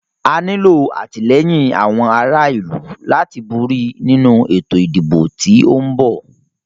A nílo àtìlẹ́yìn àwọn ará ìlú láti borí nínu ètò ìdìbò tí o ń bọ̀.